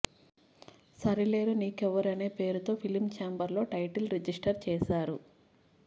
సరిలేరు నీకెవ్వరునే అనే పేరుతో ఫిలిం చాంబర్ లో టైటిల్ రిజిస్టర్ చేసారు